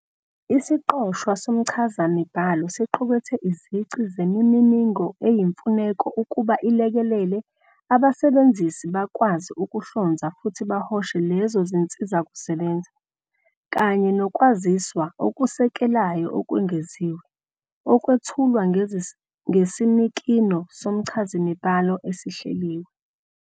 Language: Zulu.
Isiqoshwa somchazamibhalo siqukethe izici zemininingo eyimfuneko ukuba ilekelele abasebenzisi bakwazi ukuhlonza futhi bahoshe lezo zinsizakusebenza, kanye nokwaziswa okusekelayo okwengeziwe, okwethulwa ngesinikino somchazamibhalo esihleliwe.